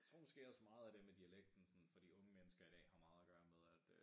Jeg tror måske meget af det med dialekten sådan for de unge mennesker i dag har meget at gøre med at øh